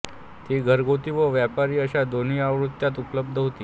ती घरगुती व व्यापारी अशा दोन्ही आवृत्त्यांत उपलब्ध होती